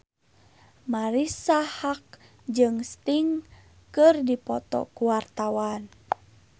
Marisa Haque jeung Sting keur dipoto ku wartawan